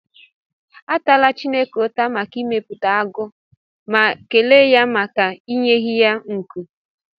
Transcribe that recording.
Atala Chineke ụta maka ịmepụta agụ, ma kelee ya maka inyeghị ya nku.